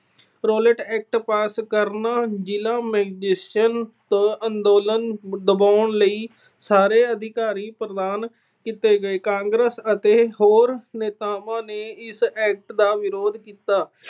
Rowlatt Act pass ਕਰਨਾ। ਜ਼ਿਲ੍ਹਾ magistrate ਤੋਂ ਅੰਦੋਲਨ ਦਬਾਉਣ ਲਈ ਸਾਰੇ ਅਧਿਕਾਰ ਪ੍ਰਾਪਤ ਕੀਤੇ ਗਏ। ਕਾਂਗਰਸ ਅਤੇ ਹੋਰ ਨੇਤਾਵਾਂ ਨੇ ਇਸ act ਦਾ ਵਿਰੋਧ ਕੀਤਾ।